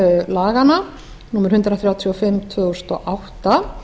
laganna númer hundrað þrjátíu og fimm tvö þúsund og átta